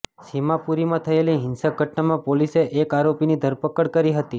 સીમાપુરીમાં થયેલી હિંસક ઘટનામાં પોલીસે એક આરોપીની ધરપકડ કરી હતી